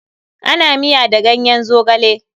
Ana miya da ganyen Zogale.